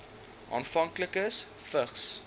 afhanklikes vigs